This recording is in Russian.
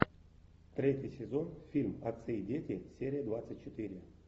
третий сезон фильм отцы и дети серия двадцать четыре